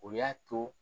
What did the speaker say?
O y'a to